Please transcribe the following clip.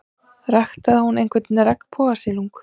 Ræktaði hún einhvern regnbogasilung?